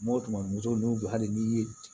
O tuma muso n'u bɛ hali n'i ye